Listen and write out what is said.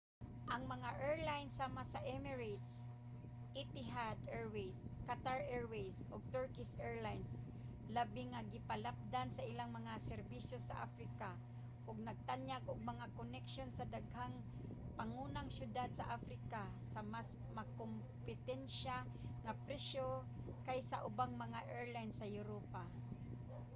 ang mga airline sama sa emirates etihad airways qatar airways ug turkish airlines labi nga gipalapdan ang ilang mga serbisyo sa africa ug nagtanyag og mga koneksyon sa daghang pangunang syudad sa africa sa mas makakompetensya nga presyo kaysa sa ubang mga airline sa europa